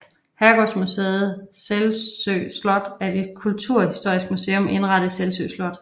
Herregårdsmuseet Selsø Slot er et kulturhistorisk museum indrettet i Selsø Slot